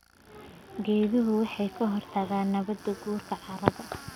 Geeduhu waxay ka hortagaan nabaad guurka carrada.